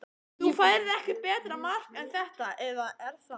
Þú færð ekki betra mark en þetta eða er það?